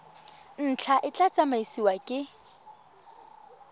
ntlha e tla tsamaisiwa ke